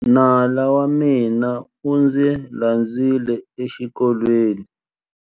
Nala wa mina u ndzi landzile exikolweni.